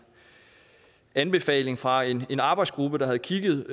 anbefaling fra en en arbejdsgruppe der havde kigget